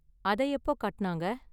அத எப்போ கட்டுனாங்க?